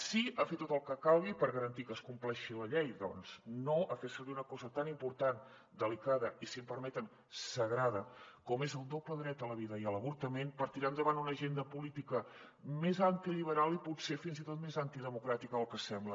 sí a fer tot el que calgui per garantir que es compleixi la llei doncs no a fer ser·vir una cosa tan important delicada i si em permeten sagrada com és el doble dret a la vida i a l’avortament per tirar endavant una agenda política més antiliberal i pot·ser fins i tot més antidemocràtica del que sembla